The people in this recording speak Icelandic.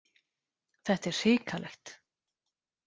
Þetta er hrikalegt.